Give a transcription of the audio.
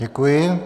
Děkuji.